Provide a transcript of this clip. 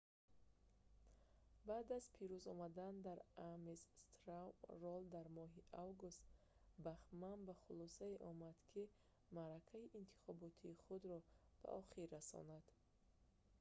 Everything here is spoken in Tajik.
баъд аз пирӯз омадан дар ames straw poll дар моҳи август бахман ба хулосае омад ки маъракаи интихотобии худро ба охир расонад